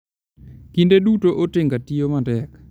Kinde duto, otenga tiyo matek.